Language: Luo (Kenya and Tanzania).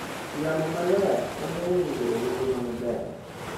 Yamo maler konyo winy bedo gi ngima maber.